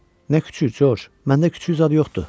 Nə küçüy Corc, məndə küçüy zad yoxdur.